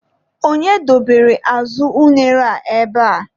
Onye dobere azụ unere a ebea?